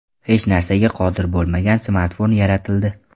Hech narsaga qodir bo‘lmagan smartfon yaratildi.